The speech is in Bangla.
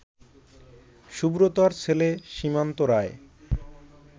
সুব্রতর ছেলে সীমান্ত রায়